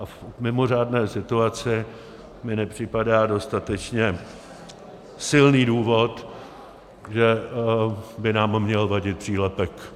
A v mimořádné situaci mi nepřipadá dostatečně silný důvod, že by nám měl vadit přílepek.